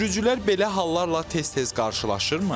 Sürücülər belə hallarla tez-tez qarşılaşırmı?